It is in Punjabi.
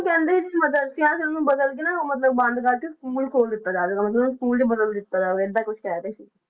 ਕਹਿੰਦੇ ਕਿ ਮਦਰੱਸੇ ਸੀ ਉਹਨੂੰ ਬਦਲ ਕੇ ਨਾ ਮਤਲਬ ਬੰਦ ਕਰਕੇ school ਖੋਲ ਦਿੱਤਾ ਜਾਵੇਗਾ, ਮਤਲਬ school 'ਚ ਬਦਲ ਦਿੱਤਾ ਜਾਵੇ ਏਦਾਂ ਕੁਛ ਕਹਿ ਰਹੇ ਸੀ।